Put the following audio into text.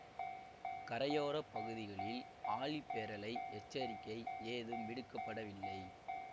கரையோர பகுதிகளில் ஆழிப்பேரலை எச்சரிக்கை ஏதும் விடுக்க படவில்லை